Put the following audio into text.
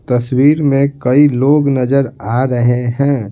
तस्वीर में कई लोग नजर आ रहे है।